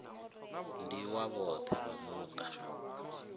ndi wa vhoṱhe vha muṱa